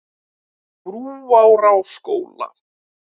Brúarásskóla